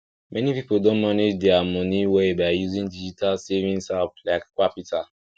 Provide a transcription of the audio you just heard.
many people don manage dia moni well by using digital savings app like qapital